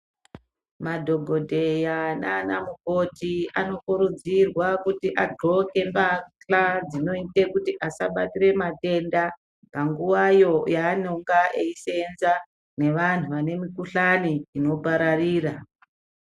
Madhokodheya nanamukoti anokurudzirwa kuti adhloke mbahladzinoite kuti asabatire matenda panguwayo yavanenge eiseenza nevanhu vane mikuhlani inopararira